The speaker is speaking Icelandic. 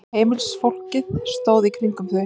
Heimilisfólkið stóð í kringum þau.